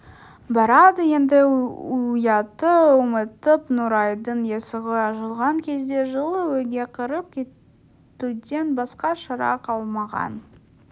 барады енді ұятты ұмытып нұрайдың есігі ашылған кезде жылы үйге кіріп кетуден басқа шара қалмаған